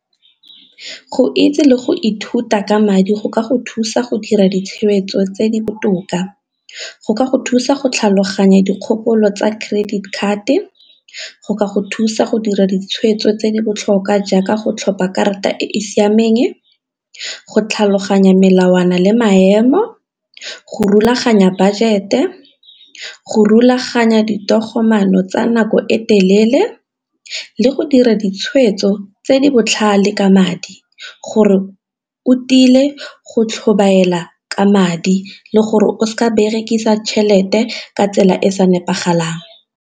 Go itse le go ithuta ka madi go ka go thusa go dira ditshwetso tse di botoka, go ka go thusa go tlhaloganya dikgopolo tsa credit card, go ka go thusa go dira ditshwetso tse di botlhokwa jaaka go tlhopha karata e e siameng, go tlhaloganya melawana le maemo, go rulaganya budget le go rulaganya ditogamaano tsa nako e telele, le go dira tshweetso tse di botlhale ka madi gore o tile go tlhobaela ka madi le gore o seka berekisa tšhelete ka tsela e sa nepagalang.